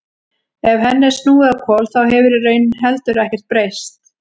Ef henni er snúið á hvolf þá hefur í raun heldur ekkert breyst.